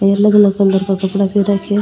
ये अलग अलग कलर का कपडा पहर रखे है।